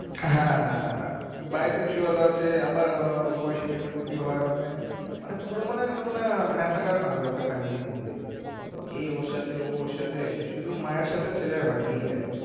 হ্যা হ্যা হ্যা by sexual ও আছে আবার আবার অল্প বয়সী মেয়েদের প্রতি হয় মানে মানে পুরো মনে একদম মনে হয় মাসাকার কান্ড একটা family এর মধ্যে এ ওর সাথে ও ওর সাথে শুধু মায়ের সাথে ছেলের হয়নি এই আরকি